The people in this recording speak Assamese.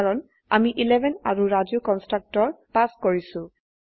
কাৰণ আমি 11 আৰু ৰাজু কন্সট্ৰকটৰ পাস কৰিছো